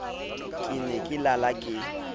ke ne ke lala ke